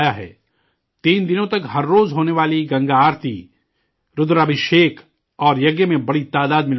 تین دنوں تک ہر روز ہونے والی گنگا آرتی، رودرابھشیک اور یگیہ میں بڑی تعداد میں لوگ شامل ہوئے